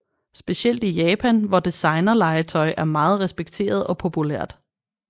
Specielt i Japan hvor designer legetøj er meget respekteret og populært